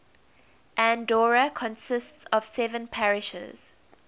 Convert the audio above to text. andorra consists of seven parishes